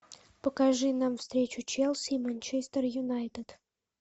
покажи нам встречу челси и манчестер юнайтед